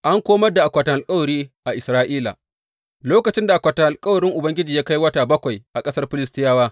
An komar da akwatin alkawari a Isra’ila Lokacin da akwatin alkawarin Ubangiji ya kai wata bakwai a ƙasar Filistiyawa.